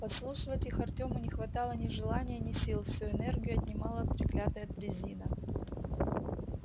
подслушивать их артёму не хватало ни желания ни сил всю энергию отнимала треклятая дрязина